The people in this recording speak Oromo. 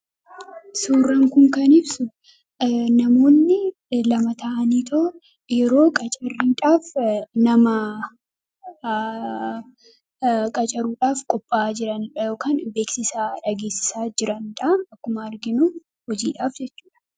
Suuraan kun kan ibsu namoonni lama ta'anii yeroo qacarriidhaaf nama qacaruudhaaf qophaa'aa jiranidha yookaan beeksisa dhageessisaa jiranidha akkuma arginu hojiidhaaf jechuudha.